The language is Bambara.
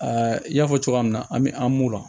n y'a fɔ cogoya min na an bɛ an b'u la